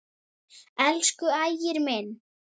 Elsku Ægir minn.